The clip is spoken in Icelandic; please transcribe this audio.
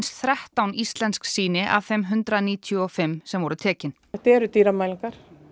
þrettán íslensk sýni af þeim hundrað níutíu og fimm sem voru tekin þetta eru dýrar mælingar